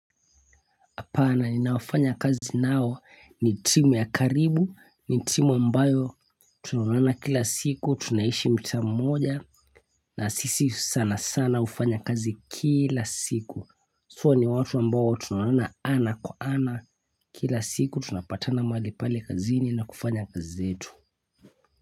Na inafanya kazi nao ni timu ya karibu, ni timu mbayo tunaonana kila siku, tunaishi mtaa mmoja na sisi sana sana hufanya kazi kila siku. Ni watu ambao tunonana ana kwa ana kila siku tunapatana malipale kazini na kufanya kazi zetu.